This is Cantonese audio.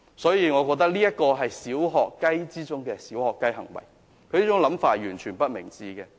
所以，我認為這是"小學雞"之中的"小學雞"行為，他這種想法完全不明智。